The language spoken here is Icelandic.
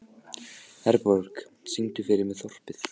Herborg, syngdu fyrir mig „Þorpið“.